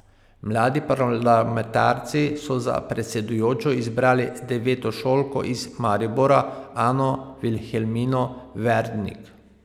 Mladi parlamentarci so za predsedujočo izbrali devetošolko iz Maribora Ano Vilhelmino Verdnik.